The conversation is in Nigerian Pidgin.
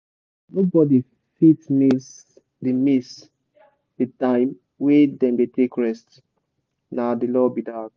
nobody fit miss the miss the time wey dem dey take rest — na the law be that